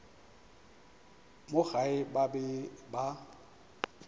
mo gae ba be ba